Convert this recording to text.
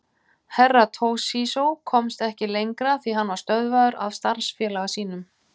Herra Toshizo komst ekki lengra því hann var stöðvaður af starfsfélaga sínum.